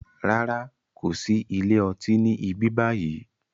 Rárá, kòsi ilé ọtí ni ibi báyìí